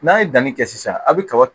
N'a ye danni kɛ sisan a bɛ kaba